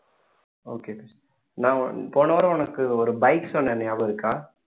okay நான் போன வாரம் உனக்கு ஒரு bike சொன்னேன் ஞாபகம் இருக்கா